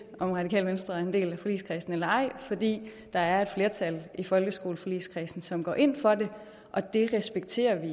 om radikale venstre er en del af forligskredsen eller ej fordi der er et flertal i folkeskoleforligskredsen som går ind for det og det respekterer vi